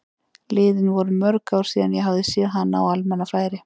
Liðin voru mörg ár síðan ég hafði séð hana á almannafæri.